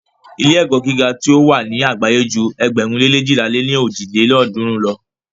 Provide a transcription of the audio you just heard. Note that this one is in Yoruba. Ilé-ẹ̀kọ́ gíga tí o wà ni àgbáyé ju ėgbẹ̀rún lé leéjìlá lé ní ojì lélọ́ọ̀dúnrún lo.